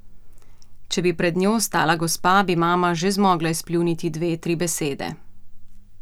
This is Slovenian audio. Če bi pred njo stala gospa, bi mama že zmogla izpljuniti dve, tri besede.